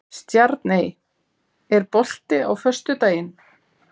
Stjarney, er bolti á föstudaginn?